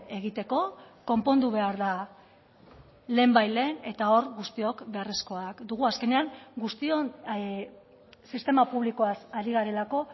egiteko konpondu behar da lehenbailehen eta hor guztiok beharrezkoak dugu azkenean guztion sistema publikoaz ari garelako